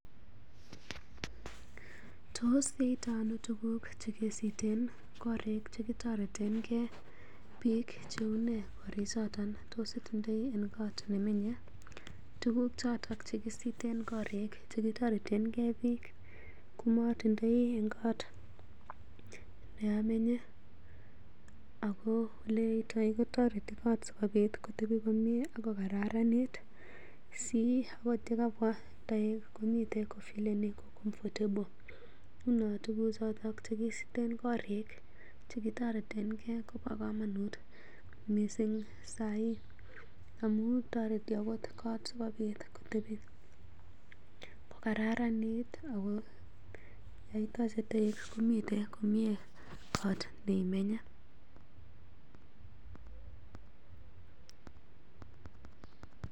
Tos yoito ano tuguk che kesiiten korik che kitoreten gee biik che unee korichoton? Tos itindoi en kot ne menye ii? Tuguk choto che kisiten korikche kitoretenge biik komotindoi en kot ne amenye. Ago ole yaitoi kotoreti koot sikobit kotebi komye ak kogararanit si agot ye kabwa toek komiten kofeeleni comfortable. Nguno tuguk choto che kisiten korik che kitoretenge kobo komonut mising saii amun toreti agot kot asikobit kotebi kogararanit ago yon itoche toek komiten komyee kot neimenye.